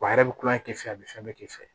Wa a yɛrɛ bɛ kulonkɛ k'a fɛ a bɛ fɛn bɛɛ kɛ k'i fɛ